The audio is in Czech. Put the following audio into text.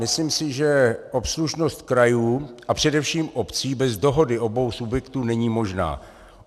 Myslím si, že obslužnost krajů a především obcí bez dohody obou subjektů není možná.